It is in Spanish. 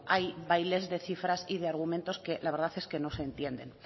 hay bailes de cifras y de argumentos que la verdad es que no se entienden